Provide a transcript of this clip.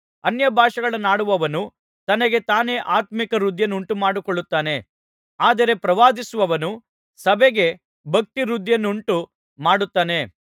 ಅನ್ಯಭಾಷೆಗಳನ್ನಾಡುವವನು ತನಗೆ ತಾನೇ ಆತ್ಮೀಕ ವೃದ್ಧಿಯನ್ನುಂಟುಮಾಡಿಕೊಳ್ಳುತ್ತಾನೆ ಆದರೆ ಪ್ರವಾದಿಸುವವನು ಸಭೆಗೆ ಭಕ್ತಿವೃದ್ಧಿಯನ್ನುಂಟು ಮಾಡುತ್ತಾನೆ